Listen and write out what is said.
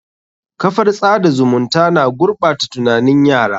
Kafar tsada zumunta na gurɓata tunanin yara.